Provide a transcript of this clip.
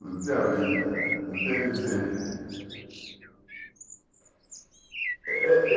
Não tinha vida, não tinha vivência. Eh eh